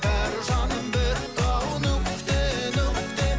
бәрі жаным бітті ау нүкте нүкте